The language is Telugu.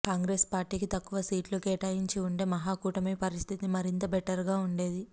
కాంగ్రెస్ పార్టీకి తక్కువ సీట్లు కేటాయించి ఉంటే మహా కూటమి పరిస్థితి మరింత బెటర్ గా ఉండేది